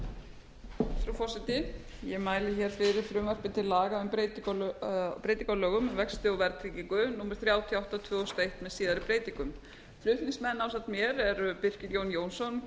frú forseti ég mæli hér fyrir frumvarpi til laga um breytingu á lögum um vexti og verðtryggingu númer þrjátíu og átta tvö þúsund og eitt með síðari breytingum flutningsmenn ásamt mér eru